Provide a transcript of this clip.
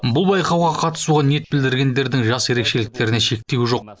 бұл байқауға қатысуға ниет білдіргендердің жас ерекшеліктеріне шектеу жоқ